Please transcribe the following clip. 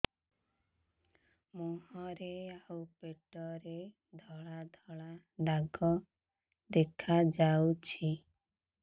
ମୁହଁରେ ଆଉ ପେଟରେ ଧଳା ଧଳା ଦାଗ ଦେଖାଯାଉଛି